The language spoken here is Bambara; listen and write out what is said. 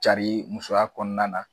Cari musoya kɔnɔna na.